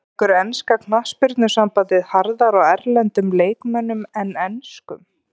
Tekur enska knattspyrnusambandið harðar á erlendum leikmönnum en enskum?